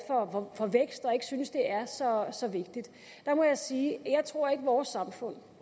for vækst og ikke synes det er så så vigtigt der må jeg sige jeg tror ikke vores samfund